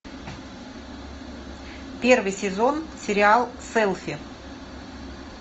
первый сезон сериал селфи